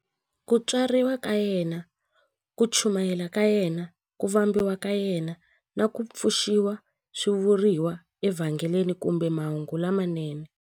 Ku tswariwa ka yena, ku chumayela ka yena, ku vambiwa ka yena, na ku pfuxiwa swi vuriwa eVhangeli kumbe Mahungu lamanene.